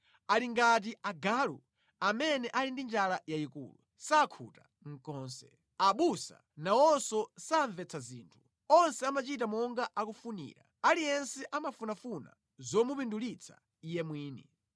Ali ngati agalu amene ali ndi njala yayikulu; sakhuta konse. Abusa nawonso samvetsa zinthu; onse amachita monga akufunira, aliyense amafunafuna zomupindulitsa iye mwini.